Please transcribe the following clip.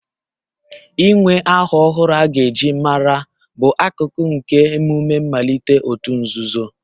Inwe aha ọhụrụ a ga-eji mara, bụ akụkụ nke emume mmalite òtù nzuzo